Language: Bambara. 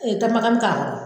takuma k'a